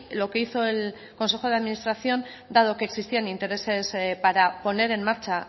lo que hizo el consejo de administración dado que existían intereses para poner en marcha